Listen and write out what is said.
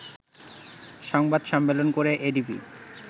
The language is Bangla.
সংবাদ সম্মেলন করে এডিবি